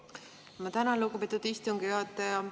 Ma tänan, lugupeetud istungi juhataja!